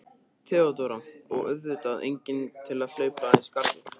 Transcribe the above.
THEODÓRA: Og auðvitað enginn til að hlaupa í skarðið.